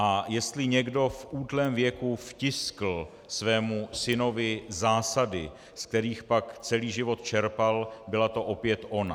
A jestli někdo v útlém věku vtiskl svému synovi zásady, z kterých pak celý život čerpal, byla to opět ona.